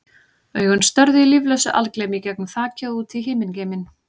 Augun störðu í líflausu algleymi í gegnum þakið og út í himingeiminn.